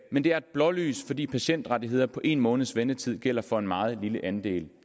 men det er et blålys fordi patientrettigheder på en måneds ventetid gælder for en meget lille andel